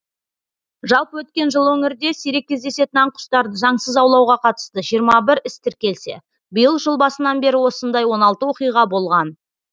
жалпы өткен жылы өңірде сирек кездесетін аң құстарды заңсыз аулауға қатысты жиырма іс тіркелсе биыл жыл басынан бері осындай он алты оқиға болған